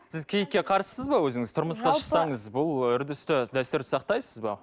сіз киітке қарсысыз ба өзіңіз тұрмысқа шықсаңыз бұл үрдісті дәстүрді сақтайсыз ба